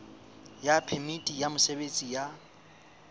ya phemiti ya mosebetsi ya